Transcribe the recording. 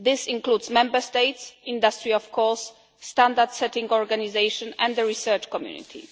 This includes Member States, industry of course, standard-setting organisations and the research community.